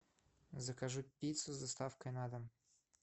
закажи пиццу с доставкой на дом